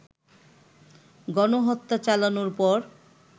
গণহত্যা চালানোর পর